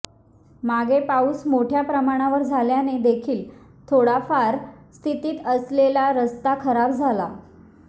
मागे पाऊस मोठ्या प्रमाणावर झाल्याने देखील थोड फार स्थितीत असलेला रस्ता खराब झाला